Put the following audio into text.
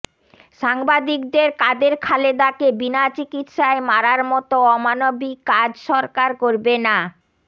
সাংবাদিকদের কাদের খালেদাকে বিনা চিকিৎসায় মারার মতো অমানবিক কাজ সরকার করবে না